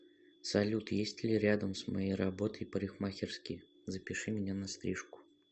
салют есть ли рядом с моей работой парикмахерские запиши меня на стрижку